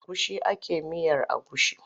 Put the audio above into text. Da agushi ake yin miyar agushi.